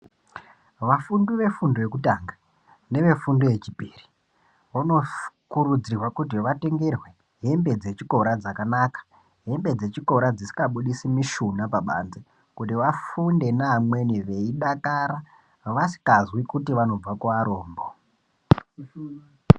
Vafundi vefundo yekutanga nevafundi nevefundo yechipiri vanokurudzirwa kuti vatengerwe hembe dzechikora dzakanaka hembe dzechikora dzisingabudisi mushuna pabanze kuti vafunde neamweni veidakara vasikazwi kuti vanobva kuvarombo.